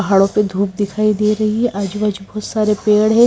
पहाड़ों पे धूप दिखाई दे रही है आजू बाजू बहुत सारे पेड़ है।